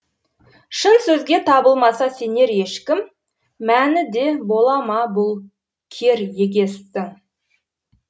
шын сөзге табылмаса сенер ешкім мәні де бола ма бұл кер егестің